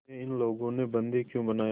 तुम्हें इन लोगों ने बंदी क्यों बनाया